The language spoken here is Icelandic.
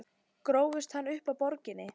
Grófstu hann upp á Borginni?